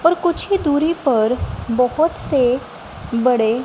और कुछ ही दूरी पर बहोत से बड़े--